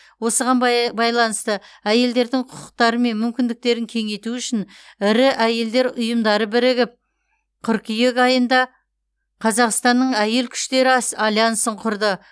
осыған бай байланысты әйелдердің құқықтары мен мүмкіндіктерін кеңейту үшін ірі әйелдер ұйымдары бірігіп қыркүйек айында қазақстанның әйел күштері ас альянсын құрды